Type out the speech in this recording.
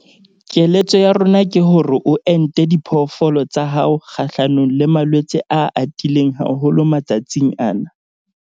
Keletso ya rona ke hore o ente diphoofolo tsa hao kgahlanong le malwetse a atileng haholo matsatsing ana.